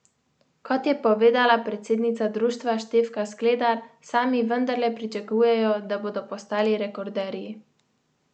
Kot je povedala predsednica društva Štefka Skledar, sami vendarle pričakujejo, da bodo postali rekorderji.